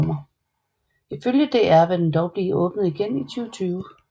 Ifølge DR vil den dog blive åbnet igen i 2020